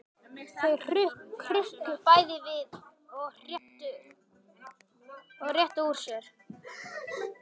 Þau hrukku bæði við og réttu úr sér.